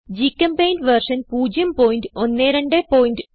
ഗ്ചെമ്പെയിന്റ് version 01210